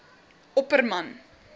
opperman